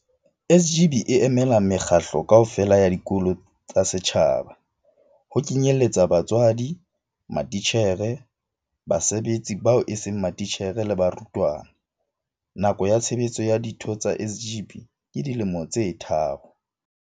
SGB e emela mekgatlo kaofela ya dikolo tsa setjhaba, ho kenyelletsa batswadi, matitjhere, basebetsi bao eseng matitjhere le barutwana. Nako ya tshebetso ya ditho tsa SGB ke dilemo tse tharo.